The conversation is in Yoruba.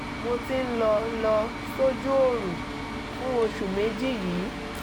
mo ti ń lọ lọ sójú oorun fún oṣù méjì yìí